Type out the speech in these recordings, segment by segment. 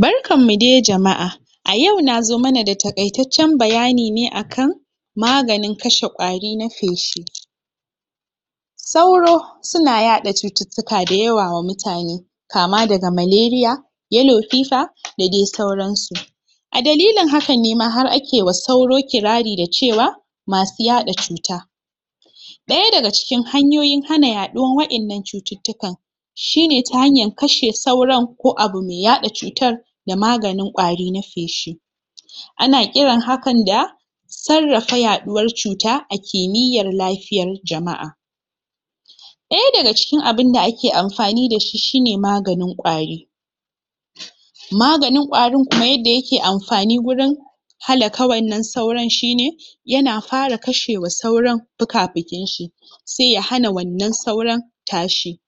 barkan mu dai jama'a a yau nazo mana da taƙaitaccan bayani ne akan maganin kashe ƙwari na feshi sauro suna yaɗa cututtuka da yawa wa mutane kama daga maleriya yalo fifa da dai sauran su a dalilin haka nema har akewa sauro kirari da cewa masu yaɗa cuta ɗaya daga cikin hanyoyin hana yaɗuwan wa'innan cututtukan shine ta hanyar kashe sauran ko abu me yaɗa cutar da maganin ƙwari na feshi ana ƙiran hakan da sarrafa yaɗuwar cuta a kimiyyar lafiyar jama'a ɗaya daga cikin abunda ake amfani dashi shi ne maganin ƙwari maganin ƙwarin kuma yadda yake amfanin wurin halaka wanan sauran shi ne yana fara kashewa sauran fuka-fukin shi seya hana wanan sauran tashi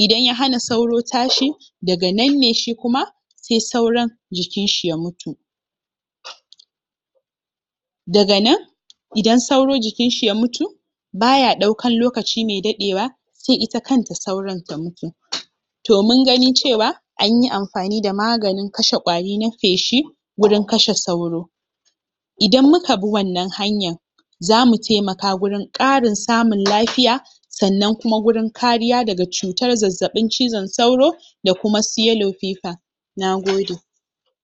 idan ya hana sauro tashi daga nanne shikuma se sauran jikinshi ya mutu daga nan idan sauro jikinshi ya mutu baya ɗaukan lokaci mai daɗewa sai ita kanta sauran ta mutu toh mun gani cewa anyi amfani da maganin kashe ƙwari na feshi gurin kashe sauro idan muka bi wannan hanyan zamu taimaka gurin ƙarin samun lafiya sannan kuma gurin kariya daga cutar zazzaɓin cizan sauro da kuma su yalo fifa Nagode